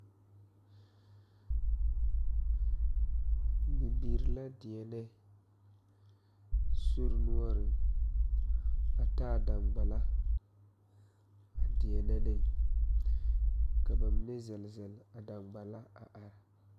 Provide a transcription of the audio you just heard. Bibiire la deɛnɛ soi noɔreŋ a taa daŋgbala a deɛnɛ ne ka ba mine zɛle zɛle a daŋgbala a are.